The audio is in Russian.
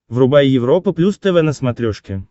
врубай европа плюс тв на смотрешке